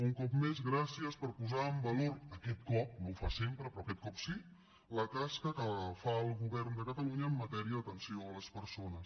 un cop més gràcies per posar en valor aquest cop no ho fa sempre però aquest cop sí la tasca que fa el govern de catalunya en matèria d’atenció a les persones